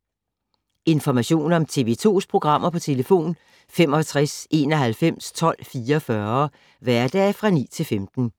Information om TV 2's programmer: 65 91 12 44, hverdage 9-15.